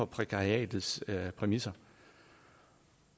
prækariatets præmisser